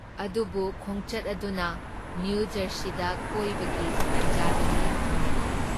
ꯑꯗꯨꯕꯨ ꯈꯣꯡꯆꯠ ꯑꯗꯨꯅ ꯅꯤꯌꯨꯖꯔꯁꯤꯗ ꯀꯣꯏꯕꯒꯤ ꯇꯥꯟꯖꯥꯗꯨꯗꯤ ꯐꯪꯂꯛꯂꯦ ꯫